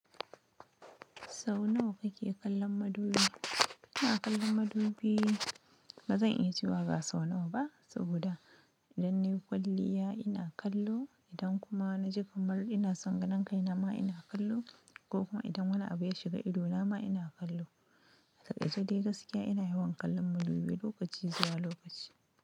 Sau nawa kake kallon madubi? Ina kallon madubi, bazan iya cewa ga so nawa ba, saboda idan nayi kwalliya ina kallo, idan kuma na ji kamar ina sanganan kai nama ina kallo ko kuma idan wani abu ya shiga ido nama ina kallo. A takaice dai gaskiya ina yawan kallon madubi lokaci zuwa lokaci.